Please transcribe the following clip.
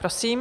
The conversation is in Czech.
Prosím.